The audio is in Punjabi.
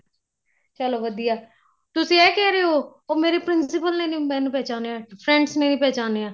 ਚਲੋ ਵਧੀਆ ਤੁਸੀਂ ਇਹ ਕਹਿ ਰਹੇ ਓ ਉਹ ਮੇਰੇ principle ਨੇ ਨੀ ਮੈਨੂੰ ਪਹਿਚਾਣੀਆਂ friends ਨੇ ਨੀਂ ਪਹਿਚਾਣੀਆਂ